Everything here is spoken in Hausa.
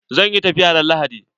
Zan yi tafiya ran Lahadi.